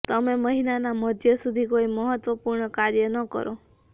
તમે મહિનાના મધ્ય સુધી કોઈ મહત્વપુર્ણ કાર્ય ન કરો